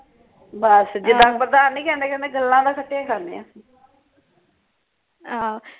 ਬੱਸ ਜਿੱਦਾ ਨਹੀਂ ਕਹਿੰਦੇ ਕਹਿੰਦੇ ਗੱਲਾਂ ਦਾ ਖਟਿਆ ਈ ਖਾਣੇ ਆ